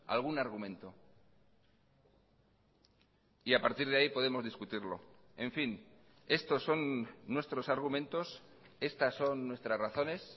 algún argumento y a partir de ahí podemos discutirlo en fin estos son nuestros argumentos estas son nuestras razones